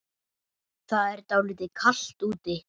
Það er dálítið kalt úti.